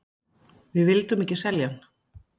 Við vildum ekki selja hann.